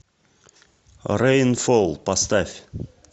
рейнфол поставь